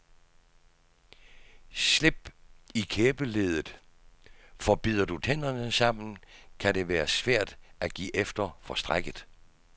Slip i kæbeleddet, for bider du tænderne sammen, kan det være svært at give efter for strækket.